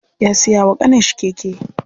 Ya siya wa ƙaninshi keke.